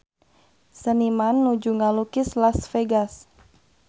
Seniman nuju ngalukis Las Vegas